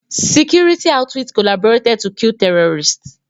Security outfits collaborated to kill terrorists